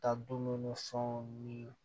Ka dumuni ni fɛnw ni